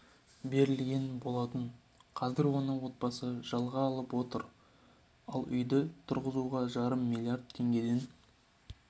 берілген болатын қазір оны отбасы жылға жалға алып отыр ал үйді тұрғызуға жарым миллиард теңгеден